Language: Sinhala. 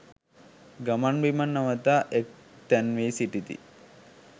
ගමන් බිමන් නවතා එක් තැන් වී සිටිති.